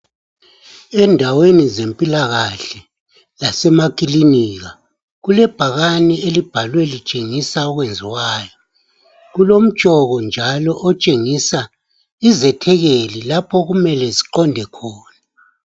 Endaweni zempilakahle lasemakilinika kulebhakani elibhalwe litshengisa okwenziwayo. Kulomtshoko njalo otshengisa izethekeli lapho okumele ziqonde khona.